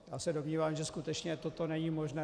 Já se domnívám, že skutečně toto není možné.